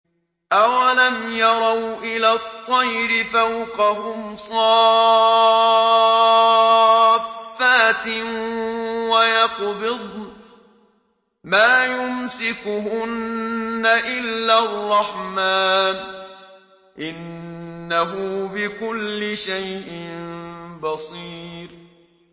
أَوَلَمْ يَرَوْا إِلَى الطَّيْرِ فَوْقَهُمْ صَافَّاتٍ وَيَقْبِضْنَ ۚ مَا يُمْسِكُهُنَّ إِلَّا الرَّحْمَٰنُ ۚ إِنَّهُ بِكُلِّ شَيْءٍ بَصِيرٌ